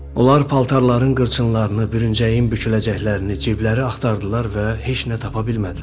Onlar paltarların qırçınlarını, bürüncəyin büküləcəklərini, ciblərini axtardılar və heç nə tapa bilmədilər.